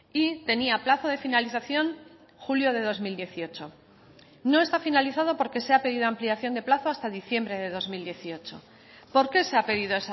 y tenía plazo de finalización julio de dos mil dieciocho no está finalizado porque se ha pedido ampliación de plazo hasta diciembre de dos mil dieciocho por qué se ha pedido